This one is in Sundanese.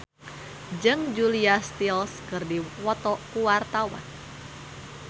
Muhammad Fachroni jeung Julia Stiles keur dipoto ku wartawan